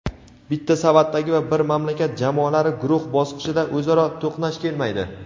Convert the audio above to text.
bitta savatdagi va bir mamlakat jamoalari guruh bosqichida o‘zaro to‘qnash kelmaydi.